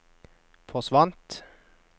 forsvant